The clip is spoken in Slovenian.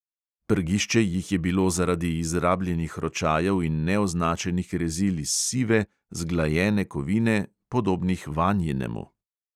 Prgišče jih je bilo zaradi izrabljenih ročajev in neoznačenih rezil iz sive, zglajene kovine podobnih vanjinemu.